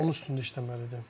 Onun üstündə işləməlidir.